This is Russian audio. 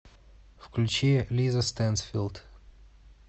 включи лиза стэнсфилд